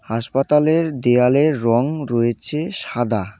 হাসপাতালের দেওয়ালের রং রয়েছে সাদা।